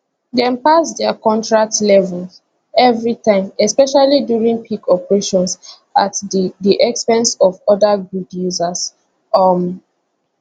dem pass dia contract levels evritime especially during peak operations at di di expense of oda grid users um